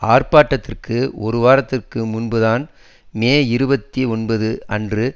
ஆர்ப்பாட்டத்திற்கு ஒரு வாரதுக்கு முன்புதான் மே இருபத்தி ஒன்பது அன்று